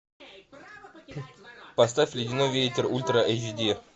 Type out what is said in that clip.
поставь ледяной ветер ультра эйч ди